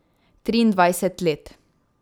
Triindvajset let.